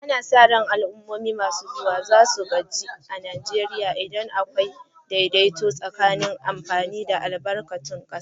Ana sa ran al'ummomi masu zuwa za su gaji Najeriya inda akwai daidaito tsakanin amfani da albarkatun kasa.